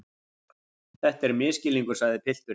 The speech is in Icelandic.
Þetta er misskilningur, sagði pilturinn.